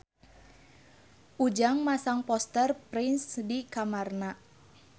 Ujang masang poster Prince di kamarna